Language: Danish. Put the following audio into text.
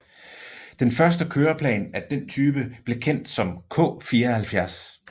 Den første køreplan af den type blev kendt som K74